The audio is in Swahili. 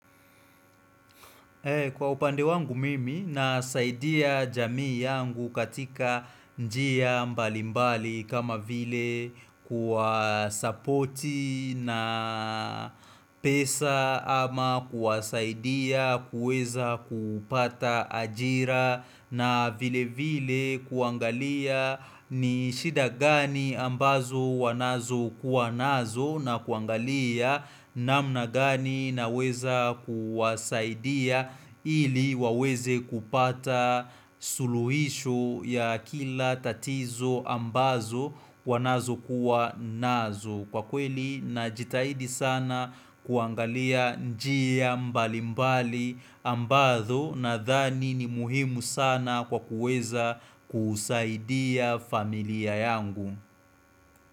Kwa upande wangu mimi na saidia jamii yangu katika njia mbali mbali kama vile kuwa sapoti na pesa ama kuwa saidia kuweza kupata ajira na vile vile kuangalia ni shida gani ambazo wanazo kuwanazo na kuangalia namna gani naweza kuwasaidia ili waweze kupata suluhisho ya kila tatizo ambazo wanazo kuwa nazo Kwa kweli na jitahidi sana kuangalia njia mbali mbali ambazo na thani ni muhimu sana kwa kuweza kusaidia familia yangu.